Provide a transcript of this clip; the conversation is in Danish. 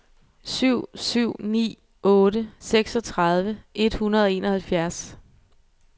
syv syv ni otte seksogtredive et hundrede og enoghalvfjerds